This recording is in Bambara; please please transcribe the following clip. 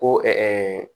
Ko